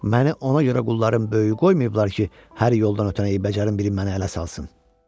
Məni ona görə qulların böyüyü qoymayıblar ki, hər yoldan ötən əyib-bəcərin biri məni ələ salsın.